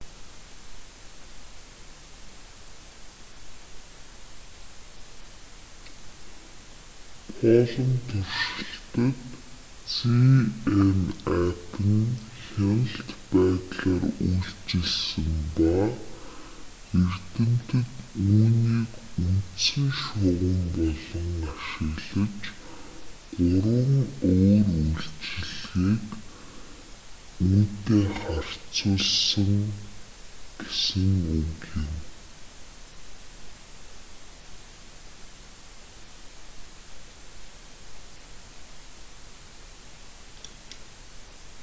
palm туршилтад zmapp нь хяналт байдлаар үйлчилсэн ба эрдэмтэд үүнийг үндсэн шугам болгон ашиглаж гурван өөр эмчилгээг үүнтэй харьцуулсан гэсэн үг юм